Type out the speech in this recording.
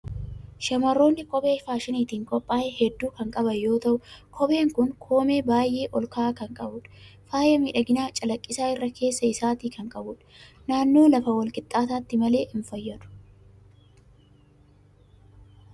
Shamarroonni kophee faashiniitiin qophaa'e hedduu kan qaban yoo ta'u, kopheen kun koomee baay'ee ol ka'aa kan qabudha. Faaya miidhaginaa calaqqisaa irra keessa isaatii kan qabudha. Naannoo lafa wal qixxaataatti malee hin fayyadu.